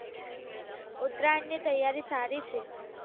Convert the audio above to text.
ઉત્તરાયણ ની તૈયારી સારી છે.